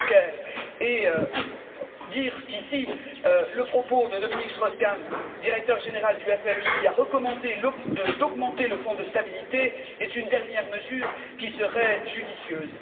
Juncker et dire qu'ici, le propos de Dominique Strauss Kahn, directeur général du FMI, qui a recommandé d'augmenter le Fonds de stabilité, est une dernière mesure qui serait judicieuse.